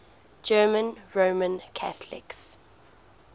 german roman catholics